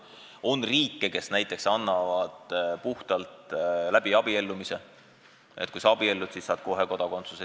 On riike, kes näiteks annavad kodakondsuse abiellumise korral: kui sa abiellud teise riigi kodanikuga, siis saad kohe kodakondsuse.